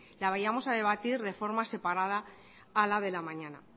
la vayamos a debatir de forma separada a la de la mañana